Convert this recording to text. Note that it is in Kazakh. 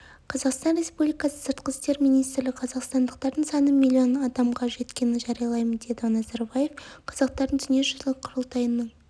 қазақстан республикасы сыртқы істер министрлігі қазақстандықтардың саны миллион адамға жеткенін жариялаймын деді назарбаев қазақтардың дүниежүзілік құрылтайының